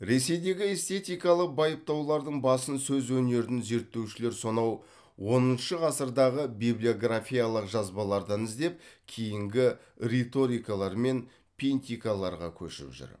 ресейдегі эстетикалық байыптаулардың басын сөз өнерін зерттеушілер сонау оныншы ғасырдағы библиографиялық жазбалардан іздеп кейінгі риторикалар мен пинтикаларға көшіп жүр